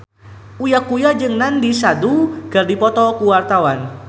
Uya Kuya jeung Nandish Sandhu keur dipoto ku wartawan